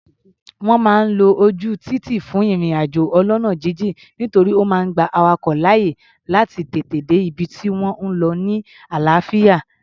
Wọ́n máa ń lo ojú títì fún ìrìn-àjò ọlọ́nà jínjìn, torí ó máa gba awakọ̀ láàyè láti tètè dé ibi tí wọ́n ń lọ ni àlàáfíà.